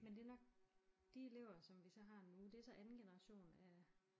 Men det nok de elever som vi så har nu det så anden generation af